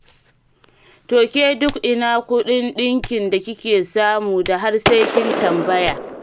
To ke duk ina kuɗin ɗinkin da kike samu da har sai kin tambaya?